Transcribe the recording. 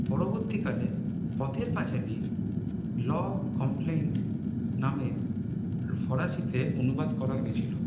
পরবর্তীকালে পথের পাঁচালি ল কম্প্লেন্ট নামে ফরসিতে অনুবাদ করা হয়েছিল